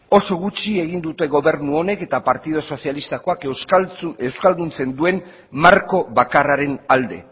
oso gutxi egin dute gobernu honek eta partidu sozialistakoek euskalduntzen duen marko bakarraren alde